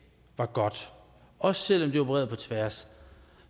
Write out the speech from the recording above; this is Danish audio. var godt også selv om det opererede på tværs